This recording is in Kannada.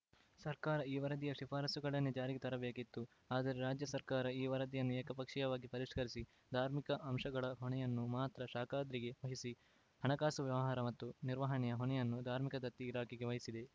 ಸರ್ಕಾರ ಈ ವರದಿಯ ಶಿಫಾರಸುಗಳನ್ನೇ ಜಾರಿಗೆ ತರಬೇಕಿತ್ತು ಆದರೆ ರಾಜ್ಯ ಸರ್ಕಾರ ಈ ವರದಿಯನ್ನು ಏಕಪಕ್ಷೀಯವಾಗಿ ಪರಿಷ್ಕರಿಸಿ ಧಾರ್ಮಿಕ ಅಂಶಗಳ ಹೊಣೆಯನ್ನು ಮಾತ್ರ ಶಾಖಾದ್ರಿಗೆ ವಹಿಸಿ ಹಣಕಾಸು ವ್ಯವಹಾರ ಮತ್ತು ನಿರ್ವಹಣೆಯ ಹೊಣೆಯನ್ನು ಧಾರ್ಮಿಕ ದತ್ತಿ ಇಲಾಖೆಗೆ ವಹಿಸಿದೆ